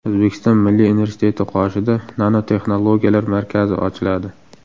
O‘zbekiston Milliy universiteti qoshida Nanotexnologiyalar markazi ochiladi.